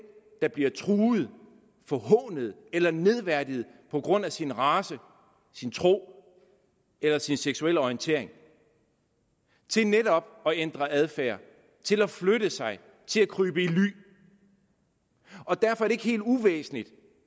der bliver truet forhånet eller nedværdiget på grund af sin race sin tro eller sin seksuelle orientering til netop at ændre adfærd til at flytte sig til at krybe i ly og derfor er det ikke helt uvæsentligt